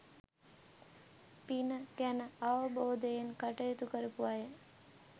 පින ගැන අවබෝධයෙන් කටයුතු කරපු අය